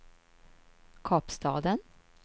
Kapstaden